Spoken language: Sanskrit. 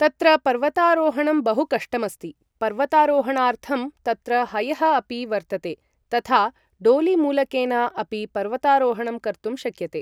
तत्र पर्वतारोहणं बहु कष्टमस्ति पर्वतारोहणार्थं तत्र हयः अपि वर्तते थथा डोलिमूलकेन अपि पर्वतारोहणं कर्तुं शक्यते ।